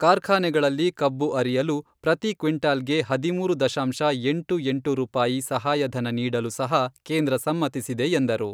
ಕಾರ್ಖಾನೆಗಳಲ್ಲಿ ಕಬ್ಬು ಅರಿಯಲು ಪ್ರತಿ ಕ್ವಿಂಟಾಲ್ಗೆ ಹದಿಮೂರು ದಶಾಂಶ ಎಂಟು ಎಂಟು ರೂಪಾಯಿ ಸಹಾಯಧನ ನೀಡಲು ಸಹ ಕೇಂದ್ರ ಸಮ್ಮತಿಸಿದೆ ಎಂದರು.